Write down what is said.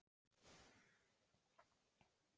Dettur einhverjum það í hug?